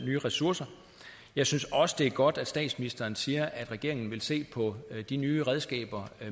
nye ressourcer jeg synes også det er godt at statsministeren siger at regeringen vil se på de nye redskaber